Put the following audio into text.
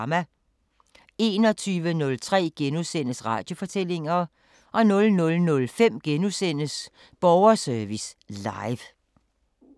21:03: Radiofortællinger * 00:05: Borgerservice Live *